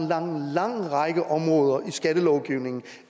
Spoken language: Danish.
lang lang række områder i skattelovgivningen